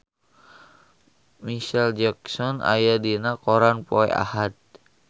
Micheal Jackson aya dina koran poe Ahad